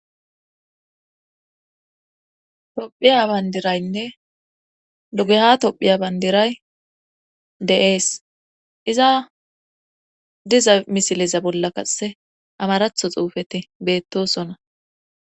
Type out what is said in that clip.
Tophiya bandiraynne dugeha tophiya bandiray de'ees. Iza diza misileza bolla qase amaratho xuufe qase beetees.